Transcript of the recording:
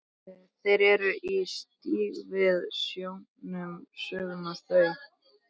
Þeir eru í stíl við snjóinn, sögðu þau.